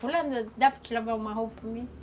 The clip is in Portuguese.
Fulana, dá para te lavar uma roupa para mim?